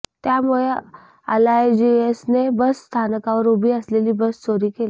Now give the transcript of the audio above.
त्यामुळे अलायजियसने बस स्थानकावर उभी असलेली बस चोरी केली